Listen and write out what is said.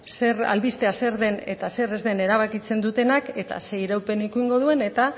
albistea zer den eta zer ez den erabakitzen dutenak eta ze iraupen izango duen eta